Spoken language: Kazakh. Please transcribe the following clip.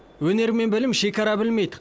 өнер мен білім шекара білмейді